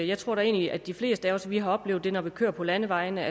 jeg tror da egentlig at de fleste af os har oplevet at når vi kører på landevejene